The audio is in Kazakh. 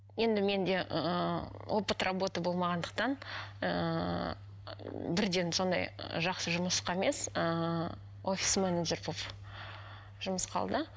енді менде ыыы опыт работы болмағандықтан ыыы бірден сондай жақсы жұмысқа емес ыыы офис менеджер болып жұмысқа алды